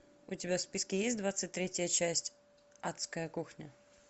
у тебя в списке есть двадцать третья часть адская кухня